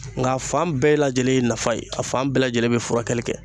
Nk'a fan bɛɛ lajɛlen ye nafa ye, a fan bɛɛ lajɛlen be furakɛli kɛ.